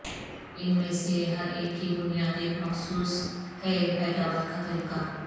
ان میں سے ہر ایک کی بنیاد ایک مخصوص ہے پیداوار کا طریقہ